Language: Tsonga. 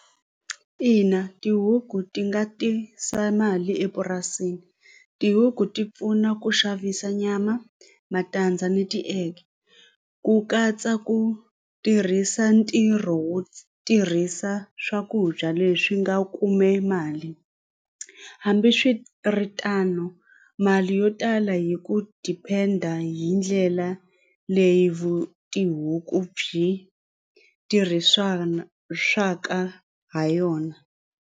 Ina tihuku ti nga tisa mali epurasini tihuku ti pfuna ku xavisa nyama matandza ni ti-egg ku katsa ku tirhisa ntirho wo tirhisa swakudya leswi nga kume mali hambiswiritano mali yo tala hi ku depend-a hi ndlela leyi vu tihuku byi tirhisana swa ka ha yona.